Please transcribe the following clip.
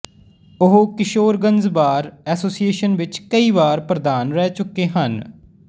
ਉਹ Kishoreganj bar association ਵਿੱਚ ਕਈ ਵਾਰ ਪ੍ਰਧਾਨ ਰਹਿ ਚੁੱਕੇ ਹਨ